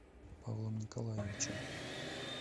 павлом николаевичем